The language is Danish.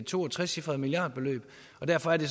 to og trecifrede milliardbeløb og derfor er det